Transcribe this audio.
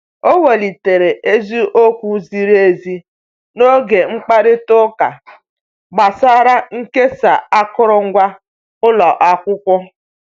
O welitere isi okwu ziri ezi n'oge mkpakorịta ụka gbasara nkesa akụrụngwa ụlọ akwụkwọ.